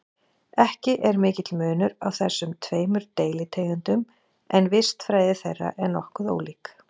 Ekki er mikill munur á þessum tveimur deilitegundum en vistfræði þeirra er nokkuð ólík.